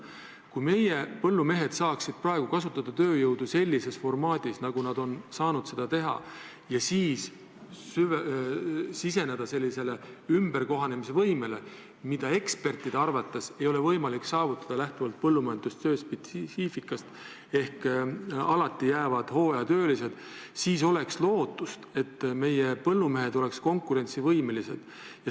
Kui meie põllumehed saaksid praegu kasutada tööjõudu sellises formaadis, nagu nad on saanud seni seda teha, ja siis minna üle ümberkohanemise võimele – ekspertide arvates ei olegi seda võimalik täielikult saavutada, põllumajandustöö spetsiifika tõttu, st alati jäävad hooajatöölised –, siis oleks lootust, et nad oleksid konkurentsivõimelised.